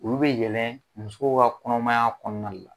Olu bɛ yɛlɛn musow ka kɔnɔmaya kɔnɔna la